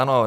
Ano.